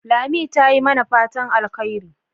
Lami ta yi mana fatan alheri.